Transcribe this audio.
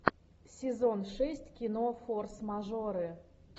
сезон шесть кино форс мажоры